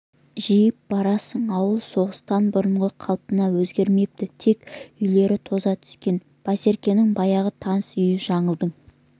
жидіп барасың ауыл соғыстан бұрынғы қалпынан өзгермепті тек үйлері тоза түскен байсеркенің баяғы таныс үйі жаңылдың